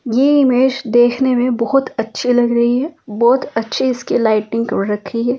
ये इमेज देखने में बहुत अच्छी लग रही है बहुत अच्छी इसकी लाइटनिंग को रखी है ।